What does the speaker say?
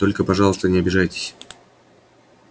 только пожалуйста не обижайтесь